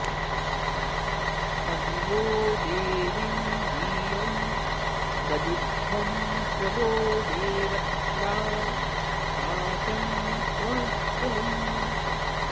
अ॒भि वो॑ दे॒वीं धियं॑ दधिध्वं॒ प्र वो॑ देव॒त्रा वाचं॑ कृणुध्वम्